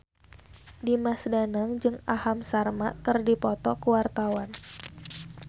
Dimas Danang jeung Aham Sharma keur dipoto ku wartawan